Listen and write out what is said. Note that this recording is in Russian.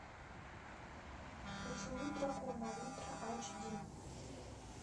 поцелуй дракона ультра айч ди